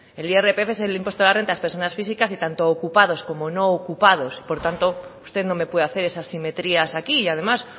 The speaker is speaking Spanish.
el irpf es el impuesto de las rentas de las personas físicas y tanto ocupados como no ocupados por tanto usted no me puede hacer esas simetrías aquí y además